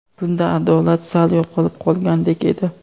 Bunda adolat sal yo‘qolib qolgandek edi.